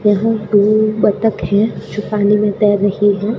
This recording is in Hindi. यहां पे बत्तख है जो पानी में तैर रही है।